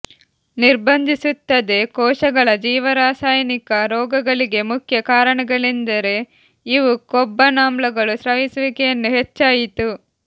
ನಿರ್ಬಂಧಿಸುತ್ತದೆ ಕೋಶಗಳ ಜೀವರಸಾಯನಿಕ ರೋಗಗಳಿಗೆಮುಖ್ಯ ಕಾರಣಗಳೆಂದರೆ ಇವು ಕೊಬ್ಬನಾಮ್ಲಗಳು ಸ್ರವಿಸುವಿಕೆಯನ್ನು ಹೆಚ್ಚಾಯಿತು